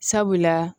Sabula